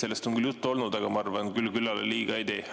Sellest on küll juttu olnud, aga ma arvan, et küll küllale liiga ei tee.